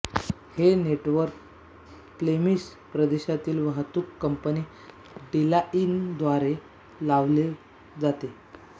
हे network Flemish प्रदेशातील वाहतूक कंपनी डीलाईनद्वारे चालवले जाते